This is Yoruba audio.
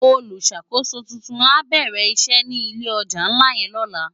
Ólùsákósó tútún á bèrè isè ni ilé òjá nlá yèn lòlá